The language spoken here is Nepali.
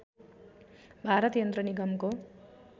भारत यन्त्र निगमको